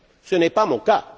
ce n'est pas mon cas.